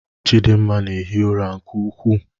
Chidimma na-ehi ụra nke ukwuu